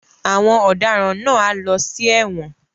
Àwọn ọdaràn náà á lọ sí ẹ̀wọ̀n.